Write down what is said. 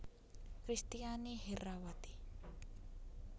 Kristiani Herrawati